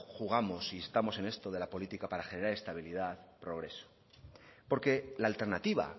jugamos y estamos en esto de la política para generar estabilidad progreso porque la alternativa